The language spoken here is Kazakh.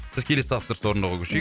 біз келесі тапсырысты орындауға көшейік